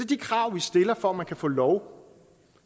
de krav vi stiller for at man kan få lov